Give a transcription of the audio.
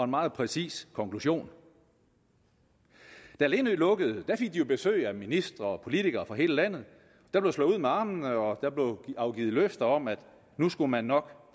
meget præcis konklusion da lindø lukkede fik de jo besøg af ministre og politikere fra hele landet der blev slået ud med armene og afgivet løfter om at nu skulle man nok